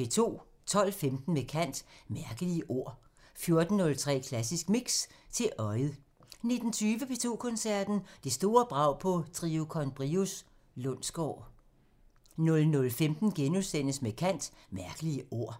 12:15: Med kant – Mærkelige ord 14:03: Klassisk Mix – til øjet 19:20: P2 Koncerten – Det store brag på Trio con Brios Lundsgaard 00:15: Med kant – Mærkelige ord *